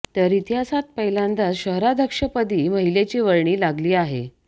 तर इतिहासात पहिल्यांदाचं शहराध्यक्ष पदी महिलेची वर्णी लागली आहे